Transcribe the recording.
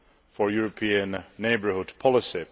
for European neighbourhood policy.